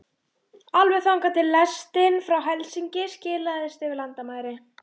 Alveg þangað til lestin frá Helsinki silaðist yfir landamæri